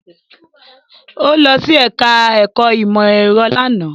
Ó lọ sí ẹ̀ká ẹ̀kọ́ ìmọ̀ ẹ̀rọ lánàá